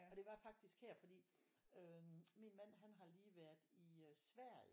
Og det var faktisk her fordi øh min man han har lige været i øh sverige